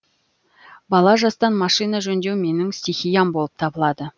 бала жастан машина жөндеу менің стихиям болып табылады